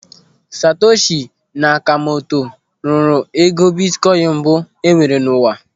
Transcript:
Satoshi Nakamoto rụrụ ego bitkoin mbụ enwere n'ụwa.